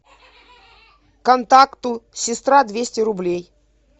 контакту сестра двести рублей